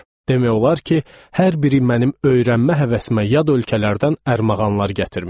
Demək olar ki, hər biri mənim öyrənmə həvəsimə yad ölkələrdən ərmağanlar gətirmişdi.